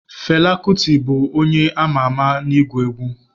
Fela Kuti bụ onye ama ama n'ịgụ egwu.